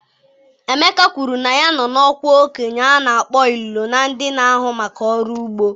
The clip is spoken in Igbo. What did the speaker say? Emeka kwuru na ya nọ n'ọkwa okenye a na-akpọ Ilolo na ndị na-ahụ maka ọrụ ugbo.